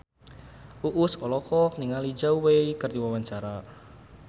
Uus olohok ningali Zhao Wei keur diwawancara